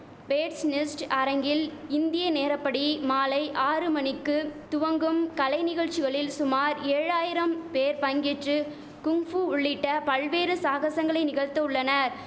bats Nest அரங்கில் இந்திய நேரப்படி மாலை ஆறு மணிக்கு துவங்கும் கலை நிகழ்ச்சிகளில் சுமார் ஏழாயிரம் பேர் பங்கேற்று குங்பூ உள்ளிட்ட பல்வேறு சாகசங்களை நிகழ்த்த உள்ளனர்